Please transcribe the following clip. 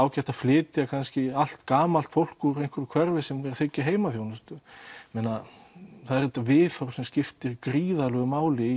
að flytja allt gamalt fólk úr einhverju hverfi sem að þiggja heimaþjónustu það er þetta viðhorf sem skiptir gríðarlegu máli